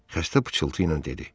Xəstə pıçıltıyla dedi.